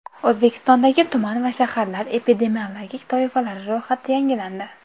O‘zbekistondagi tuman va shaharlar epidemiologik toifalari ro‘yxati yangilandi.